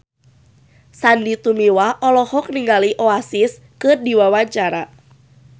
Sandy Tumiwa olohok ningali Oasis keur diwawancara